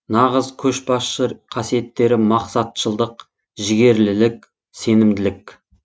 нағыз көшбасшы қасиеттері мақсатшылдық жігерлілік сенімділік